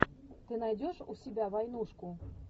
ты найдешь у себя войнушку